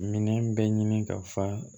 Minɛn bɛɛ ɲini ka fa